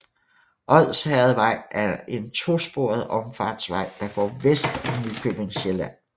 Odsherredvej er en to sporet omfartsvej der går vest om Nykøbing Sjælland